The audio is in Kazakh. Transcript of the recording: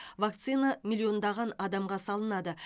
вакцина миллиондаған адамға салынады